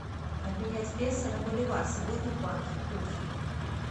обменять песо на боливар сегодня в банке курс